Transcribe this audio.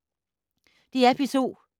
DR P2